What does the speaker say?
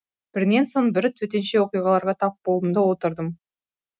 бірінен соң бірі төтенше оқиғаларға тап болдым да отырдым